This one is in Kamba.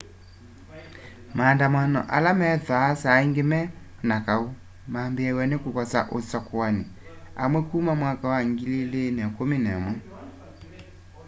maandamano ala methwaa saa ingi me na kau mambiiaw'a ni kukosa usakuani amwe kuma 2011